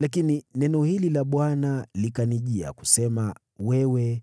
Lakini neno hili la Bwana likanijia, kusema: ‘Wewe